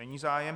Není zájem.